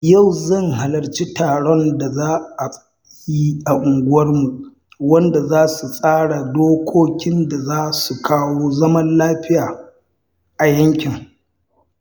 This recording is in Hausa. Yau zan halarci taron da za a yi a unguwarmu wanda za a tsara dokokin da za su kawo zaman lafiya a yankin.